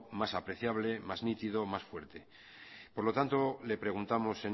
más apreciable más nítido más fuerte por lo tanto le preguntamos